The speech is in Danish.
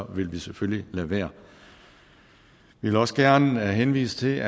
vi selvfølgelig lade være vi vil også gerne henvise til